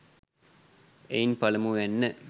එයින් පළමුවැන්න,